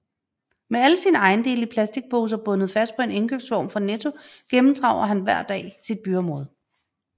Med alle sine ejendele i plastikposer bundet fast på en indkøbsvogn fra Netto gennemtraver han hver dag sit byområde